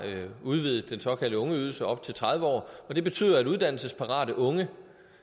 udvidet den såkaldte ungeydelse op til tredive år og det betyder at uddannelsesparate unge